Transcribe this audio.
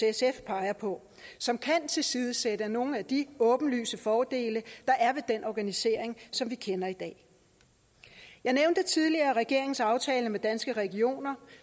sf peger på som kan tilsidesætte nogle af de åbenlyse fordele der er ved den organisering som vi kender i dag jeg nævnte tidligere regeringens aftale med danske regioner